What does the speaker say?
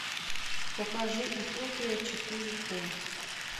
покажи утопия четыре к